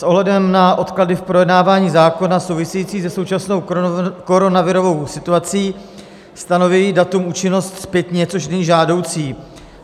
S ohledem na odklady v projednávání zákona související se současnou koronavirovou situací stanoví datum účinnost zpětně, což není žádoucí.